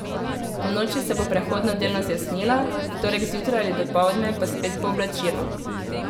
Ponoči se bo prehodno delno zjasnilo, v torek zjutraj ali dopoldne pa spet pooblačilo.